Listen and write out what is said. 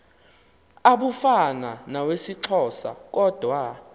abufana nawesixhosa kodwa